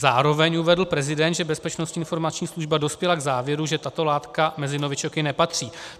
Zároveň uvedl prezident, že Bezpečnostní informační služba dospěla k závěru, že tato látka mezi novičoky nepatří.